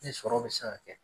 Ne sɔrɔ bɛ se ka kɛ.